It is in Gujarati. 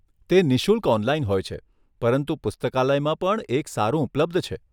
તે નિશુલ્ક ઓનલાઇન હોય છે, પરંતુ પુસ્તકાલયમાં પણ એક સારું ઉપલબ્ધ છે.